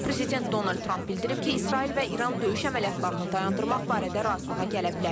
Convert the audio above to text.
Prezident Donald Tramp bildirib ki, İsrail və İran döyüş əməliyyatlarını dayandırmaq barədə razılığa gələ bilər.